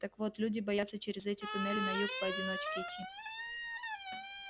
так вот люди боятся через эти туннели на юг поодиночке идти